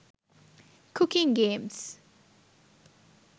cooking games